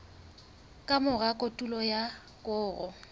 ka mora kotulo ya koro